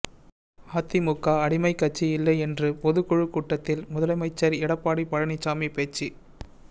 அதிமுக அடிமைக் கட்சி இல்லை என்று பொதுக்குழுக் கூட்டத்தில் முதலமைச்சர் எடப்பாடி பழனிசாமி பேச்சு